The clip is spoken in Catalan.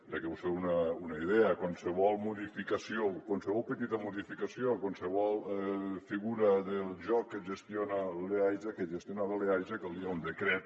perquè us feu una idea qualsevol modificació qualsevol petita modificació qualsevol figura del joc que gestiona l’eaja que gestionava l’eaja calia un decret